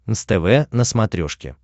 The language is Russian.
нств на смотрешке